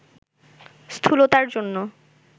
স্থূলতার জন্য